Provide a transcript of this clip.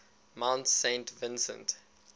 mount saint vincent